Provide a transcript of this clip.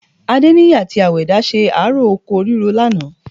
Adéníyì àti Àwẹ̀dá ṣe ààró oko ríro lánàá